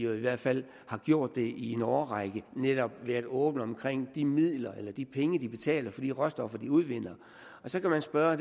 i hvert fald har gjort det i en årrække netop været åbne omkring de midler eller de penge de betaler for de råstoffer de udvinder så kan man spørge